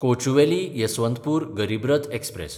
कोचुवेली–यसवंतपूर Garib Rath express